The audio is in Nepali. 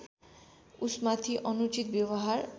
उसमाथि अनुचित व्यवहार